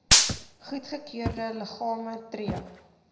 goedgekeurde liggame tree